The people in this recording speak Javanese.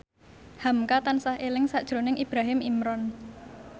hamka tansah eling sakjroning Ibrahim Imran